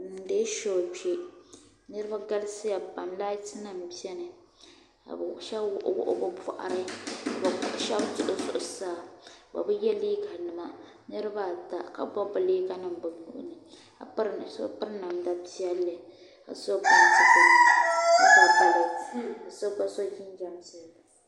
bi niŋdila shoo kpɛ niraba galisiya pam lait nim biɛni ka shab wuɣi wuɣi bi boɣari ka shab duɣi zuɣusaa bi bi yɛ liiga nima niraba ata ka bob bob yaayɛ niŋ bi zuɣuni ka so piri namda piɛlli ka ka so jinjɛm gbunni ka ga balɛt ka so gba so jinjɛm piɛlli